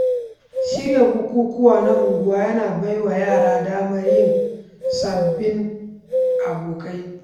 Shirya bukukuwa na unguwa yana bai wa yara damar yin sababbin abokai.